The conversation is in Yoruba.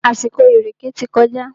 Àsìkò ìrèkè ti kọjá.